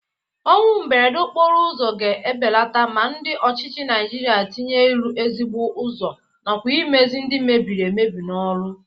Ọnwụ mberede okporo ụzọ ga-ebeleta ma ndị ọchịchị Naịjirịa tinye ịrụ ezigbo ụzọ nakwa imezi ndị mebiri emebi n'ọrụ.